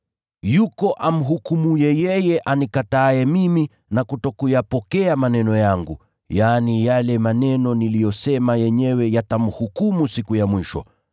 Yuko amhukumuye yeye anikataaye mimi na kutokuyapokea maneno yangu, yaani, yale maneno niliyosema yenyewe yatamhukumu siku ya mwisho.